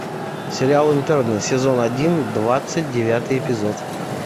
сериал интерны сезон один двадцать девятый эпизод